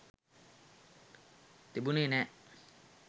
තිබුනෙ නෑ.